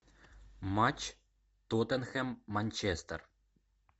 матч тоттенхэм манчестер